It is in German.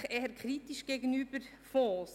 ] [mehrheitlich] eher kritisch [gegenüber] […